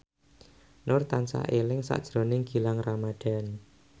Nur tansah eling sakjroning Gilang Ramadan